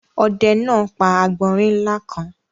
Ọdẹ náà pa àgbọ̀nrín ńlá kan.